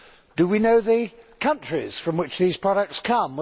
Do we know the countries from which these products come?